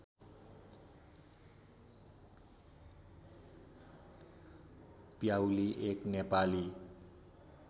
प्याउली एक नेपाली